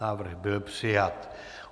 Návrh byl přijat.